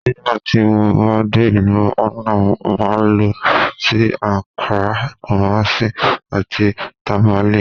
Nígbà tí mo bá dé ìlú Hánà, màá lọ sí; Akrá, Kúmásí, àti Tàmálé.